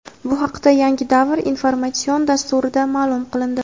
Bu haqda "Yangi davr" informatsion dasturida ma’lum qilindi.